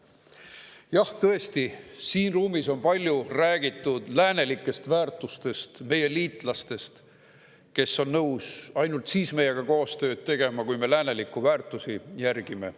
Jah, tõesti, siin ruumis on palju räägitud läänelikest väärtustest, meie liitlastest, kes on nõus ainult siis meiega koostööd tegema, kui me läänelikke väärtusi järgime.